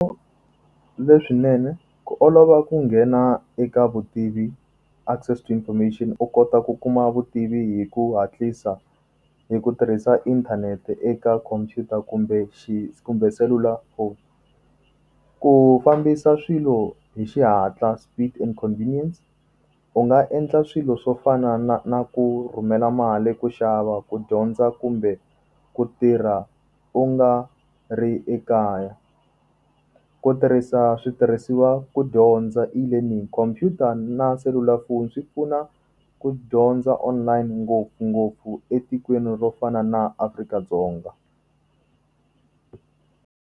Leswinene ku olova ku nghena eka vutivi access information u kota ku kuma vutivi hi ku hatlisa hi ku tirhisa inthanete eka khomphyuta kumbe kumbe selulafoni. Ku fambisa swilo hi xihatla speed inconvenience, u nga endla swilo swo fana na na ku rhumela mali, ku xava ku dyondza kumbe ku tirha u nga ri ekaya. Ku tirhisa switirhisiwa ku dyondza eLearning khomphyuta na selulafoni swi pfuna ku dyondza online ngopfungopfu etikweni ro fana na Afrika-Dzonga.